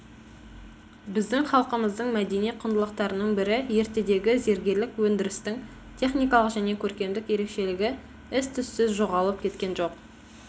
біздің халқымыздың мәдени құндылықтарының бірі ертедегі зергерлік өндірістің техникалық және көркемдік ерекшелігі із түссіз жоғалып кеткен жоқ